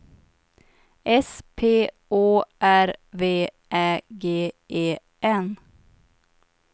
S P Å R V Ä G E N